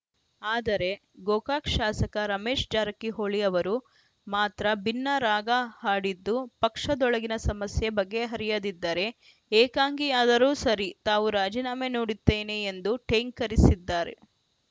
ಆದರೆ ಗೋಕಾಕ್‌ ಶಾಸಕ ರಮೇಶ್‌ ಜಾರಕಿಹೊಳಿ ಅವರು ಮಾತ್ರ ಭಿನ್ನ ರಾಗ ಹಾಡಿದ್ದು ಪಕ್ಷದೊಳಗಿನ ಸಮಸ್ಯೆ ಬಗೆಹರಿಯದಿದ್ದರೆ ಏಕಾಂಗಿಯಾದರೂ ಸರಿ ತಾವು ರಾಜೀನಾಮೆ ನೋಡುತ್ತೇನೆ ಎಂದು ಠೇಂಕರಿಸಿದ್ದಾರೆ